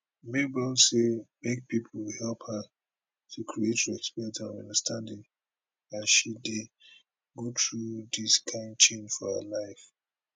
mabel say make pipo help her to create respect and understanding as she dey go through dis kain change for her life